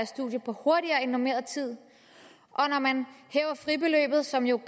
studier hurtigere end på normeret tid og når man hæver fribeløbet som jo